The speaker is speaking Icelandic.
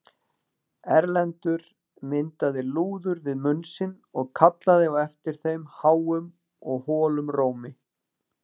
Erlendur myndaði lúður við munn sinn og kallaði á eftir þeim háum og holum rómi.